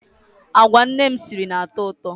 Agwa nne m siri na-atọ ụtọ.